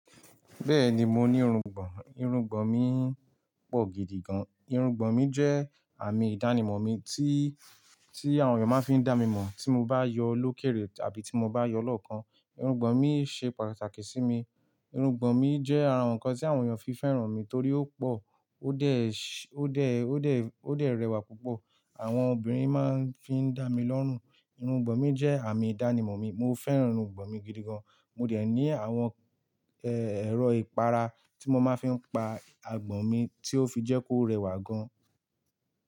Bẹ́ẹ̀ni mo ní irungbọ̀n, irungbọ̀n mi pọ̀ gidigan, irungbọ̀n mi jẹ́ àmì ìdánimọ̀ mi tí, tí àwọn èèyàn máa fi n dá mi mọ̀ tí mo bá yọ lókèèrè tàbí tí mo bá yọ lọ́ọ̀kan. Irungbọ̀n mi ṣe pàtàkì sí mi, irungbọ̀n mi jẹ́ ara àwọn nǹkan tí àwọn èèyàn fi fẹ́ràn mi torí ó pọ̀, ó dẹ́, ó dẹ́, ó dẹ́, ó dẹ rẹwà púpọ̀. Àwọn obìnrin máa ń fi n dá mi lọ́rùn, irungbọ̀n mi jẹ́ àmì ìdánimọ̀ mi, mo fẹ́ràn irungbọ̀n mi gidigan. Mo dẹ̀ ní àwọn, ẹ, ẹ̀rọ ìpara tí mo máa fi n pa àgbọ̀n mi tí ó fi jẹ́ kó rẹwà gan.